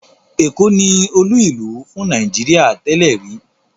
Èkó ni olú-ìlú fún Nàìjíríà tẹ́lẹ̀ rí.